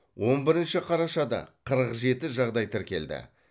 он бірінші қарашада қырық жеті жағдаи тіркелді